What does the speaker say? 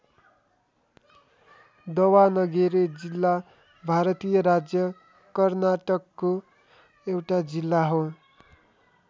दवानगेरे जिल्ला भारतीय राज्य कर्नाटकको एउटा जिल्ला हो।